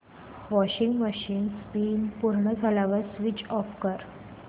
washing machine spin पूर्ण झाल्यावर switch off कर